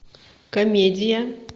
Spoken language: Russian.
комедия